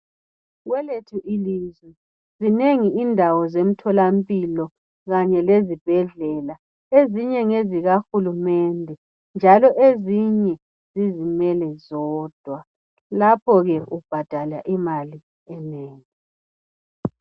Kwelethu ilizwe zinengi indawo zemtholampilo Kanye lezibhedlela. Ezinye ngezikahulumende njalo ezinye zizimele zodwa . Lapho ke ubhadala imali enengi.